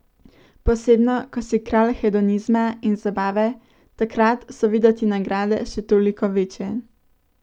Posebno ko si kralj hedonizma in zabave, takrat so videti nagrade še toliko večje.